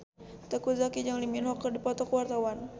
Teuku Zacky jeung Lee Min Ho keur dipoto ku wartawan